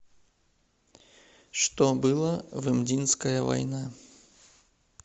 что было в имдинская война